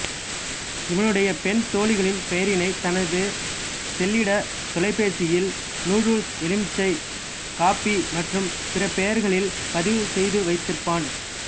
இவனுடைய பெண் தோழிகளின் பெயரினைத் தனது செல்லிடத் தொலைபேசியில் நூடுல்ஸ் எலுமிச்சை காப்பி மற்றும் பிற பெயர்களில் பதிவு செய்துவைத்திருப்பான்